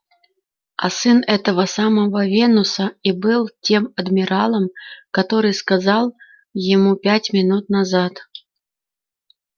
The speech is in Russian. а сын этого самого венуса и был тем адмиралом который сказал ему пять минут назад